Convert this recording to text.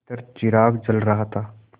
भीतर चिराग जल रहा था